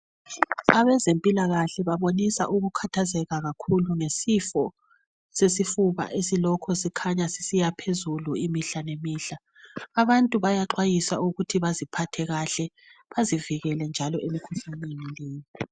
Abezempilakahle babaonisa ukukhathazeka kakhulu ngesifo sesifuna esilokhu sikhanya sisiyaphezulu imihla ngemihla abantu bayaxwayiswa ukuthi baziphathe kahle bazivikele njalo emkhuhlaneni leyi.